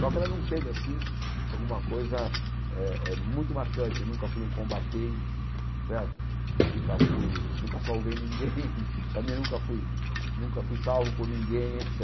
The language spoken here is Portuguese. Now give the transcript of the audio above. Só que ela não teve assim alguma coisa eh eh muito marcante, nunca fui um combatente certo, nunca fui nunca salvei ninguém, também nunca fui nunca fui salvo por ninguém, et